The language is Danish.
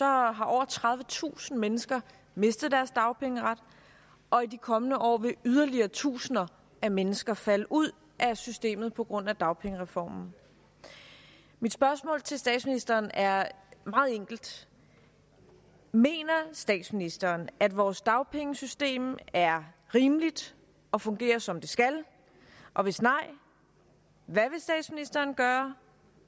har over tredivetusind mennesker mistet deres dagpengeret og i de kommende år vil yderligere tusinder af mennesker falde ud af systemet på grund af dagpengereformen mit spørgsmål til statsministeren er meget enkelt mener statsministeren at vores dagpengesystem er rimeligt og fungerer som det skal og hvis nej hvad vil statsministeren gøre